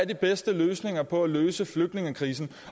de bedste løsninger på at løse flygtningekrisen